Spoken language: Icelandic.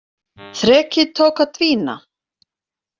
Þrekið tók að dvína.